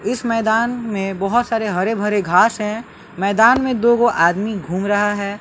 इस मैदान में बहोत सारे हरे भरे घास हैं मैदान में दो गो आदमी घूम रहा है।